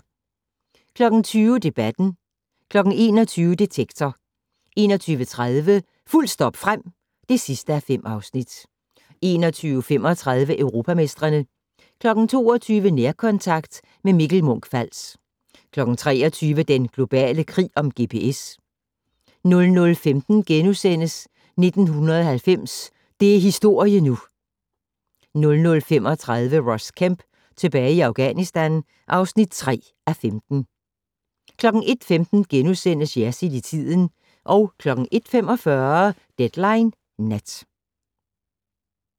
20:00: Debatten 21:00: Detektor 21:30: Fuldt stop frem (5:5) 21:35: Europamestrene 22:00: Nærkontakt - med Mikkel Munch-Fals 23:00: Den globale krig om GPS 00:15: 1990 - det er historie nu! (9:20)* 00:35: Ross Kemp tilbage i Afghanistan (3:5) 01:15: Jersild i tiden * 01:45: Deadline Nat